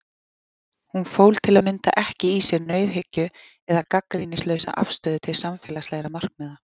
Hún fól til að mynda ekki í sér nauðhyggju eða gagnrýnislausa afstöðu til samfélagslegra markmiða.